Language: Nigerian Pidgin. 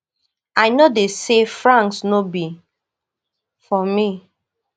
i no dey say france no be for me